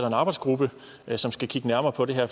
en arbejdsgruppe som skal kigge nærmere på det her